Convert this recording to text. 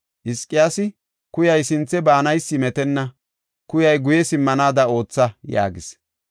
Hizqiyaasi, “Kuyay sinthe baanaysi metenna; kuyay guye simmanaada ootha” yaagis.